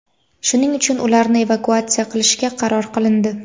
shuning uchun ularni evakuatsiya qilishga qaror qilindi.